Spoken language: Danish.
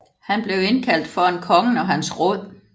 Han blev indkaldt foran kongen og hans råd